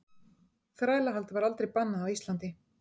Þrælahald var aldrei bannað á Íslandi.